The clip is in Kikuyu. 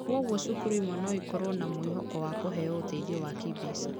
Kwoguo cukuru imwe no ikorũo na mwĩhoko wa kũheo ũteithio wa kĩĩmbeca.